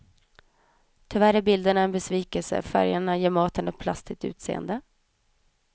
Tyvärr är bilderna en besvikelse, färgerna ger maten ett plastigt utseende.